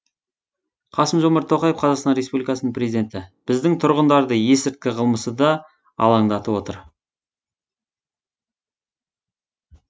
қасым жомарт тоқаев қазақстан республикасының президенті біздің тұрғындарды есірткі қылмысы да алаңдатып отыр